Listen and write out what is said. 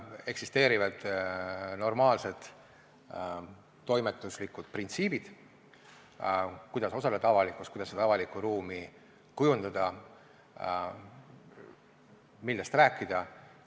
Eksisteerivad normaalsed toimetuslikud printsiibid, kuidas osaleda avalikus ruumis, kuidas seda avalikku ruumi kujundada, millest rääkida.